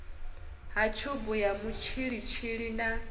ha tshubu ya mutshilitshili na